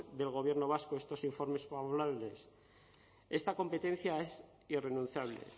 del gobierno vasco estos informes esta competencia es irrenunciable